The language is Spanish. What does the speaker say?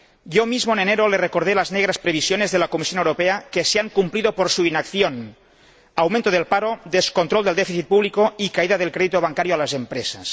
Yo mismo, en enero, le recordé las negras previsiones de la Comisión Europea, que se han cumplido por su inacción aumento del paro, descontrol del déficit público y caída del crédito bancario a las empresas.